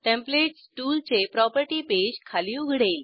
templates टूलचे property page खाली उघडेल